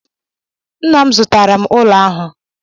Nna m zụtara ụlọ ahụ.